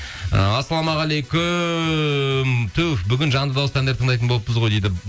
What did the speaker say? і ассалаумағалейкум түһ бүгін жанды дауыста әндер тыңдайтын болыппыз ғой дейді